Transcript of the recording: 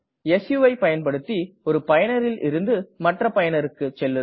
சு வை பயன்படுத்தி ஒரு பயனரில் இருந்து மற்ற பயனருக்கு செல்லுதல்